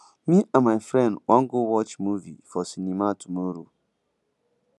me and my friend wan go watch movie for cinema tomorrow